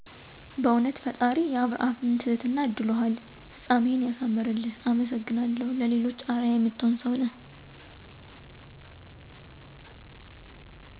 "በእዉነት ፈጣሪ የአብርሃምን ትህትና አድሎሀል!! ፍፃሜህን ያሳምርልህ አመሰግናለሁ ለሌሎች አረአያ የምትሆን ሰዉ ነህ" ።